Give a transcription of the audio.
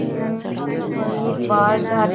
उ आ तो कोई बाल ठा --